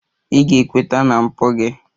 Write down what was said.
Ị ga-ekweta na mpụ gị!